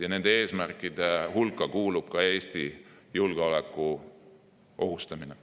Ja nende eesmärkide hulka kuulub ka Eesti julgeoleku ohustamine.